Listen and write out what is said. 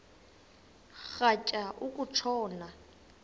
rhatya uku tshona